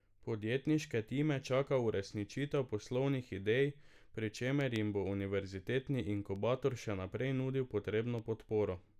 Podjetniške time čaka uresničitev poslovnih idej, pri čemer jim bo univerzitetni inkubator še naprej nudil potrebno podporo.